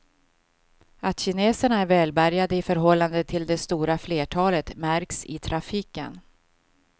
Att kineserna är välbärgade i förhållande till det stora flertalet märks i trafiken.